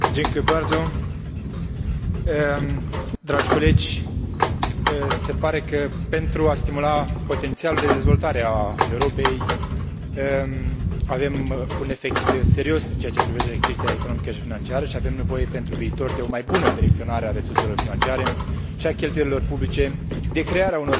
Se pare că, pentru a stimula potențialul de dezvoltare a Europei, avem un efect serios în ceea ce privește creșterea economică și financiară și avem nevoie pentru viitor de o mai bună direcționare a resurselor financiare și a cheltuielilor publice, de creare a unor condiții adecvate pentru a redresa economia